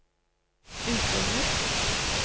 utlignet